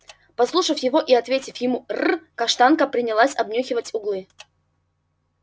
послушав его и ответив ему р каштанка принялась обнюхивать углы